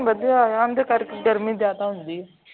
ਪ੍ਰਦੂਸ਼ਣ ਵਧਿਆ ਹੋਇਆ ਹੁੰਦਾ ਕਰਕੇ ਗਰਮੀ ਜਿਆਦਾ ਹੁੰਦੀ ਹੈ